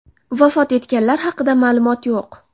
Vafot etganlar haqida ma’lumot yo‘q.